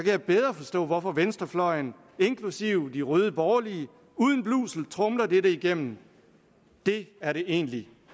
jeg bedre forstå hvorfor venstrefløjen inklusive de røde borgerlige uden blusel tromler det det igennem det er det egentligt